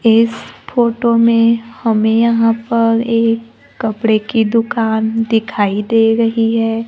इस फोटो में हमें यहां पर एक कपड़े की दुकान दिखाई दे रही है।